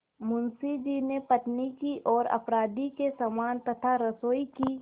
मुंशी जी ने पत्नी की ओर अपराधी के समान तथा रसोई की